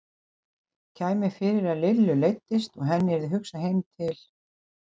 Kæmi fyrir að Lillu leiddist og henni yrði hugsað heim til